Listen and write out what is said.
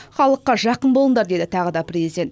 халыққа жақын болыңдар деді тағы да президент